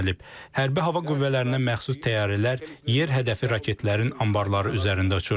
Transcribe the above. Hərbi hava qüvvələrinə məxsus təyyarələr yer hədəfi raketlərin anbarları üzərində uçur.